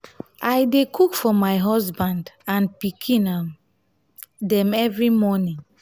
i dey cook for my husband and pikin um dem every morning.